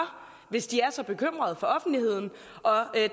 hvis de er så bekymrede for offentligheden